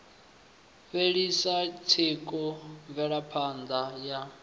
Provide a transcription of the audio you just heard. fhelisa tsiku mvelapha ṋda ya